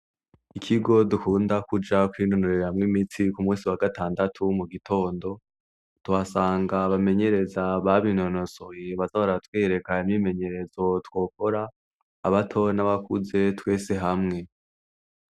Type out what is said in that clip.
Ikigo dukunda kujakoinonurere hamwo imitsi ku musi wa gatandatu wo mu gitondo twasanga bamenyereza babintonosoy bazabaratwerekana n' bimenyerezo twokora abato n'abakuze twese hamwe.